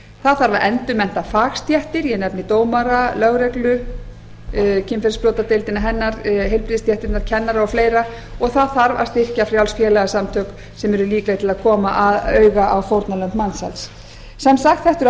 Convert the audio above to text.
það þarf að endurmennta fagstéttir ég nefni dómara lögreglu kynferðisbrotadeildina hennar heilbrigðisstéttirnar kennara og fleira og það þarf að styrkja frjáls félagasamtök sem eru líkleg til að koma auga á fórnarlömb mansals sem sagt þetta er